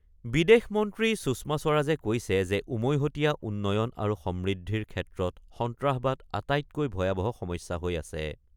বিদেশ মন্ত্ৰী সুষমা স্বৰাজে কৈছে যে উমৈহতীয়া উন্নয়ন আৰু সমৃদ্ধিৰ ক্ষেত্ৰত সন্ত্ৰাসবাদ আটাইতকৈ ভয়াৱহ সমস্যা হৈ আছে।